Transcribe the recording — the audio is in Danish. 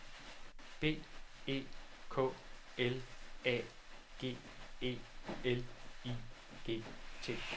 B E K L A G E L I G T